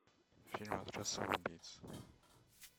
фильм отряд самоубийц